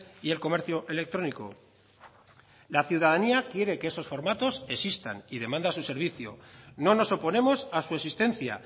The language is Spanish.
y el comercio electrónico la ciudadanía quiere que esos formatos existan y demanda su servicio no nos oponemos a su existencia